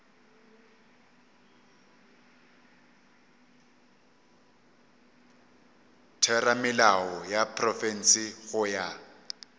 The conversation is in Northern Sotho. theramelao ya profense go ya